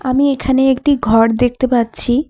আমি এখানে একটি ঘর দেখতে পাচ্ছি।